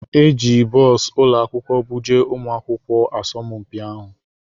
E ji bọs ụlọ akwụkwọ buje ụmụ akwụkwọ asọmpi ahụ.